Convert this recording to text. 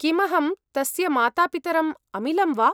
किमहं तस्य मातापितरम् अमिलम् वा?